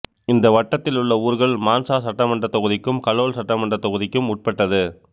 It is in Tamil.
இந்த வட்டத்தில் உள்ள ஊர்கள் மான்சா சட்டமன்றத் தொகுதிக்கும் கலோல் சட்டமன்றத் தொகுதிக்கும் உட்பட்டது